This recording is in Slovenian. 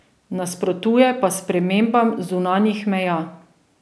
Nasprotuje pa spremembam zunanjih meja.